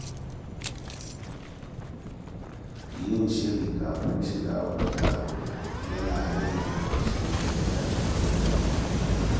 Yin shiri kafin shiga wani taro yana rage rashin jin daɗi ko damuwa.